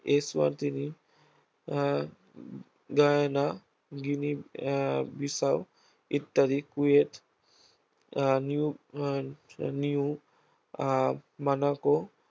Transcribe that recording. Eswatini ah Guyana, Guinea ah Bissau ইত্যাদি Kuwait ah new ah new ah Monaco